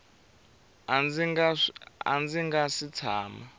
a ndzi nga si tshama